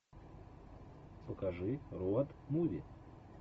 покажи роуд муви